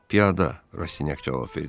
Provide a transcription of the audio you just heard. Piyada, Rastinyak cavab verdi.